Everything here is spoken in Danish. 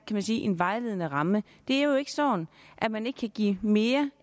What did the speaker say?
en vejledende ramme det er jo ikke sådan at man ikke kan give mere